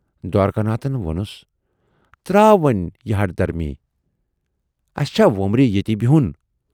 دوارِکا ناتھن وونُس"تراو وۅنۍ یہِ ہٹھ دھرمی، اَسہِ چھا وُمبرِ ییتی بِہُن